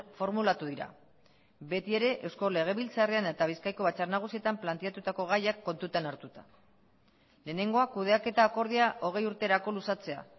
formulatu dira beti ere eusko legebiltzarrean eta bizkaiko batzar nagusietan planteatutako gaiak kontutan hartuta lehenengoa kudeaketa akordioa hogei urterako luzatzea